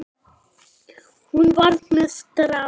Hún var með strák!